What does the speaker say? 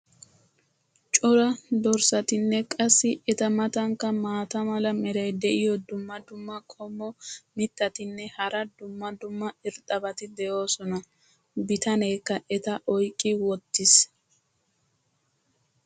cora dorssatinne qassi eta matankka maata mala meray diyo dumma dumma qommo mitattinne hara dumma dumma irxxabati de'oosona. bitaneekka eta oyqqi wotiis.